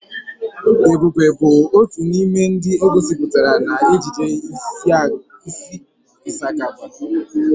Ebube bụ otu n'ime ndị e gosipụtara n'ejije Ịsakaba.